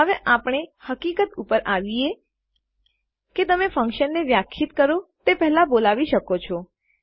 હવે આપણે એ હકીકત ઉપર આવીએ કે તમે ફન્કશનને વ્યાખ્યાયિત કરો તે પેહલા બોલાવી શકો છો